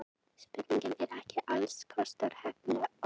Spurningin er ekki alls kostar heppilega orðuð.